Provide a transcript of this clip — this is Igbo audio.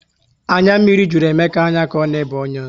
Anya mmiri jụrụ Emeka anya ka ọ na ebe onions